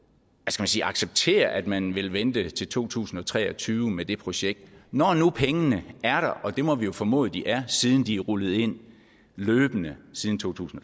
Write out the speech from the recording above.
sige at acceptere at man vil vente til to tusind og tre og tyve med det projekt når nu pengene er der og det må vi jo formode de er siden de er rullet ind løbende siden totusinde